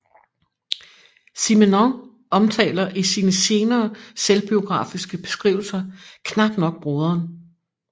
Simenon omtaler i sine senere selvbiografiske beskrivelser knap nok broderen